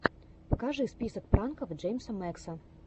покажи список пранков джеймса мэкса